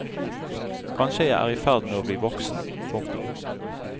Kanskje jeg er i ferd med å bli voksen. punktum